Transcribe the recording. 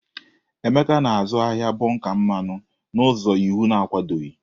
Emeka na-azụ ahịa bonka mmanụ n'ụzọ iwu na-akwadoghị.